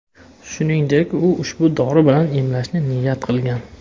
Shuningdek, u ushbu dori bilan emlanishni niyat qilgan.